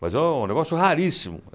Mas é um negócio raríssimo.